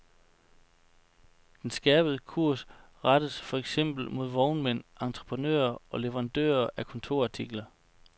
Den skærpede kurs rettes for eksempel mod vognmænd, entreprenører og leverandører af kontorartikler.